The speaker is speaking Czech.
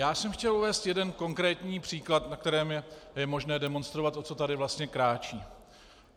Já jsem chtěl uvést jeden konkrétní příklad, na kterém je možné demonstrovat, o co tady vlastně kráčí.